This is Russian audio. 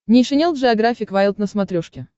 нейшенел джеографик вайлд на смотрешке